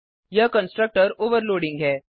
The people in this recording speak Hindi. यह कंस्ट्रक्टर ओवरलोडिंग है